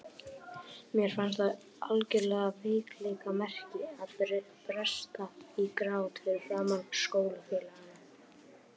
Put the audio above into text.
Mér fannst það algjört veikleikamerki að bresta í grát fyrir framan skólafélagana.